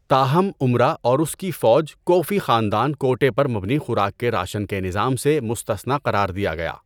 تاہم، امرا اور اس کی فوج کو فی خاندان کوٹہ پر مبنی خوراک کے راشن کے نظام سے مستثنیٰ قرار دیا گیا۔